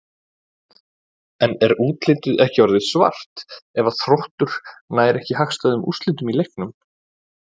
En er útlitið ekki orðið svart ef að Þróttur nær ekki hagstæðum úrslitum úr leiknum?